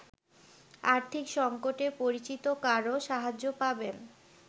আর্থিক সঙ্কটে পরিচিত কারো সাহায্য পাবেন।